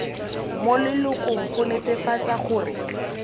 mo lelokong go netefatsa gore